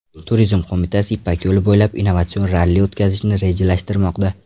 Turizm qo‘mitasi Ipak yo‘li bo‘ylab innovatsion ralli o‘tkazishni rejalashtirmoqda.